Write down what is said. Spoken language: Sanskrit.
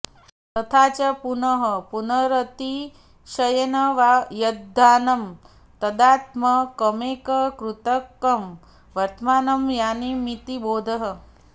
तथा च पुनः पुनरतिशयेन वा यद्यानं तदात्मकमेककर्तृकं वर्तमानं यानमिति बोधः